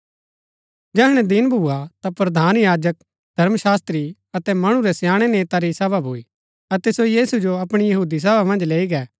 जैहणैं दिन भुआ ता प्रधान याजक धर्मशास्त्री अतै मणु रै स्याणै नेता री सभा भूई अतै सो यीशु जो अपणी सभा मन्ज लैई गै